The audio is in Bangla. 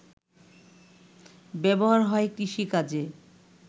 ব্যবহার হয় কৃষিকাজে